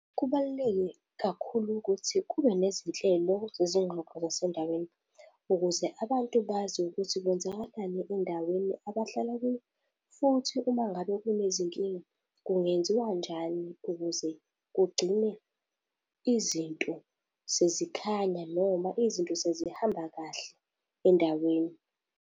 Kubaluleke kakhulu ukuthi kube nezinhlelo zezinxoxo zasendaweni, ukuze abantu bazi ukuthi kwenzakalani endaweni abahlala kuyo, futhi uma ngabe kunezinkinga kungenziwa njani kuze kugcine izinto sezikhanya noma izinto sezihamba kahle endaweni.